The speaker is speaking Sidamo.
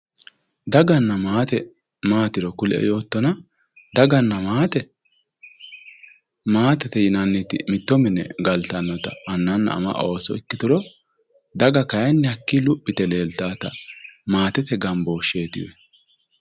Daganna maate maatiro kulie yoottotera daganna maate maatete yinanniti mitto mine galtannota ikkitanna annanna ama ooso ikkituro daga kayinni hakkii luphi yite leeltaati maatete gambooshsheetiwe.